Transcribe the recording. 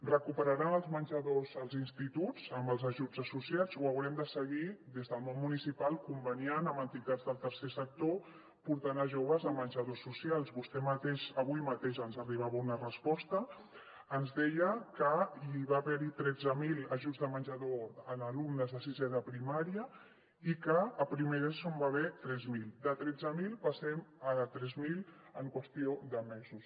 recuperaran els menjadors als instituts amb els ajuts associats o haurem de seguir des del món municipal conveniant amb entitats del tercer sector i portant a joves a menjadors socials vostè mateix avui mateix ens arribava una resposta ens deia que hi va haver tretze mil ajuts de menjador en alumnes de sisè de primària i que a primer d’eso n’hi va haver tres mil de tretze mil passem a tres mil en qüestió de mesos